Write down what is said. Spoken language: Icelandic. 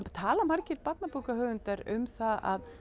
tala margir barnabókahöfundar um það að